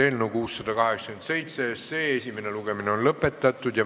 Eelnõu 687 SE esimene lugemine on lõppenud.